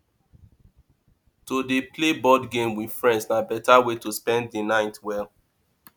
to dey play board games with friends na beta way to spend the night well